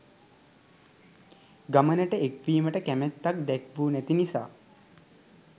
ගමනට එක්වීමට කැමැත්තක් දැක්වු නැති නිසා.